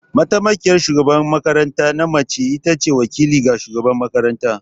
Mataimakiyar shugaban makaranta na mace ita ce wakili ga shugabar makarantar.